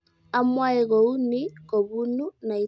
amwoe kounii kopunu naitaenyu